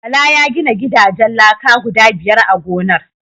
Bala ya gina gidajen laka guda biyar a gonar.